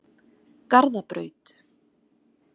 Garðabraut